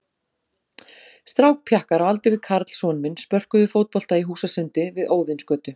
Strákpjakkar á aldur við Karl son minn spörkuðu fótbolta í húsasundi við Óðinsgötu.